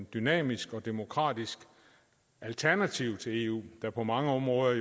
dynamisk og demokratisk alternativ til eu der på mange områder